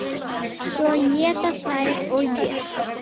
Svo éta þær og éta.